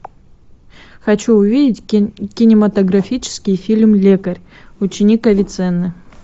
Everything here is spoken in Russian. хочу увидеть кинематографический фильм лекарь ученик авиценны